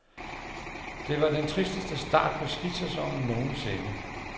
Det var den tristeste start på skisæsonen nogensinde.